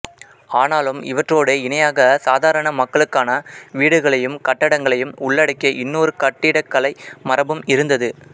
ஆனாலும் இவற்றோடு இணையாகச் சாதாரண மக்களுக்கான வீடுகளையும் கட்டடங்களையும் உள்ளடக்கிய இன்னொரு கட்டிடக்கலை மரபும் இருந்தது